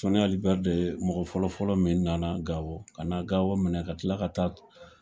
Soni Ali Ber de mɔgɔ fɔlɔfɔlɔ min nana Gao ka na Gao minɛ ka tila ka taa k